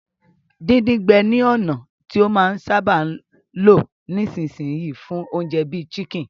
Díndín-gbẹ ni ònà ti a máa n sábà lo nisínsìn yii fún ounje bi chicken